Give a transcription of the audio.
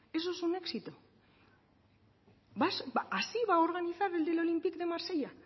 eso es un éxito así va a organizar el del olympique de marsella